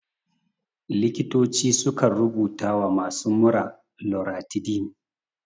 Likitoci sukan rubuta wa masu mura loratidin.